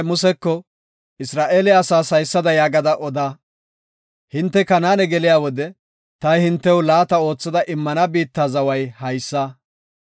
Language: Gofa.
“Isra7eele asaas haysada gada oda; hinte Kanaane geliya wode ta hintew laata oothada immana biitta zaway haysa.